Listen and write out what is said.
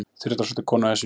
Þyrla sótti konu á Esjuna